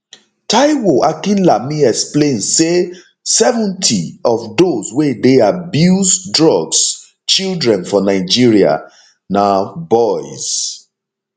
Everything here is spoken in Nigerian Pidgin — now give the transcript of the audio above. taiwo akinlami explain say 70 of dose wey dey abuse drugs children for nigeria na boys